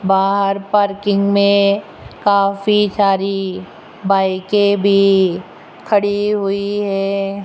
बाहर पार्किंग में काफी सारी बाइके भी खड़ी हुई है।